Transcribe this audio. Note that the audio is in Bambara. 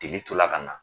Degeli tola ka na